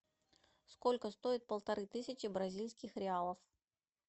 сколько стоит полторы тысячи бразильских реалов